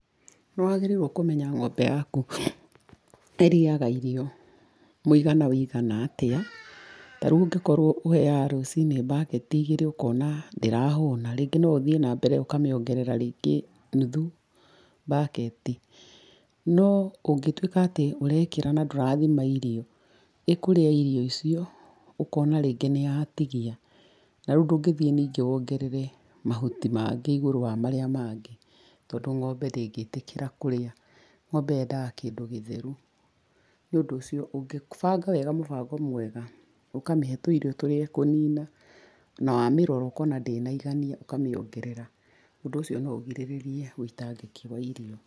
Nĩwagĩrĩirwo kũmenya ng'ombe yaku ĩrĩaga irio mũigana ũigana atĩa, tarĩu ũngĩkorwo ũheaga rũcini baketi igĩrĩ ũkona ndĩrahũna, rĩngĩ no ũthiĩ nambere ũkamiongerera rĩngĩ nuthu baketi. No ũngĩtuĩka atĩ ũrekĩra na ndũrathima irio, ĩkũria irio icio, ũkona rĩngĩ nĩyatigia. Narĩu ndũgĩthiĩ ningĩ wongerere mahũti mangĩ igũrũ wa marĩa mangĩ, tondũ ngombe ndĩngĩtĩkĩra kũrĩa. Ng'ombe yendaga kĩndũ gĩtheru. Nĩũndũ ũcio ũngĩbanga wega mũbango mwega, ũkamĩhe tũirio tũrĩa ĩkũnina na wamĩrora ũkona ndĩnaigania ũkamĩongerera, ũndũ ũcio no ũgirĩrĩrie wĩitangĩki wa irio.